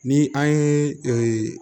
Ni an ye